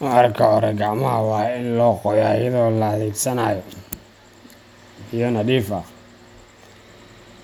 Marka hore, gacmaha waa in la qoyaa iyadoo la adeegsanaayo biyo nadiif ah